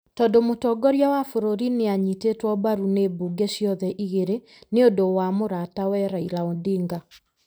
tondũ mũtongoria wa bũrũri nĩ aanyitĩtwo mbaru nĩ mbunge ciothe igĩrĩ nĩ ũndũ wa mũratawe Raila Odinga.